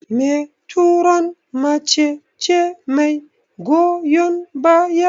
Meturon mace ce mai goyon baya.